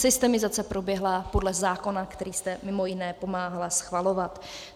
Systemizace proběhla podle zákona, který jste, mimo jiné, pomáhala schvalovat.